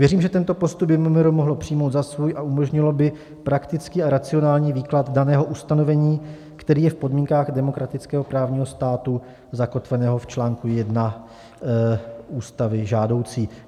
Věřím, že tento postup by MMR mohlo přijmout za svůj a umožnilo by praktický a racionální výklad daného ustanovení, který je v podmínkách demokratického právního státu zakotveného v čl. 1 Ústavy žádoucí.